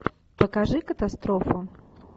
покажи катастрофу